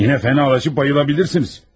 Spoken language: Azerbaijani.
Yenə fənallaşıb bayılə bilirsiniz.